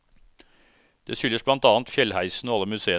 Det skyldes blant annet fjellheisen og alle museene.